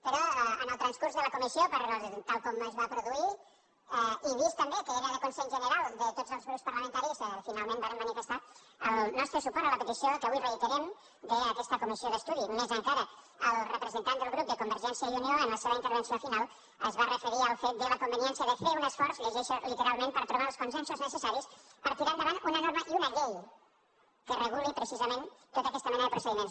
però en el transcurs de la comissió tal com es va produir i vist també que era de consens general de tots els grups parlamentaris finalment vàrem manifestar el nostre suport a la petició que avui reiterem d’aquesta comissió d’estudi més encara el representant del grup de convergència i unió en la seva intervenció final es va referir al fet de la conveniència de fer un esforç ho llegeixo literalment per trobar els consensos necessaris per tirar endavant una norma i una llei que reguli precisament tota aquesta mena de procediments